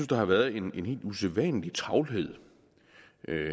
der har været en helt usædvanlig travlhed